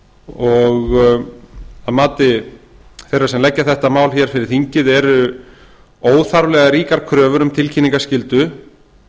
og að mati þeirra sem leggja þetta mál hér fyrir þingið eru óþarflega ríkar kröfur um tilkynningaskyldu